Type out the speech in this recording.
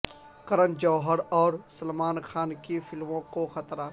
کرن جوہر اور سلمان خان کی فلموں کو خطرہ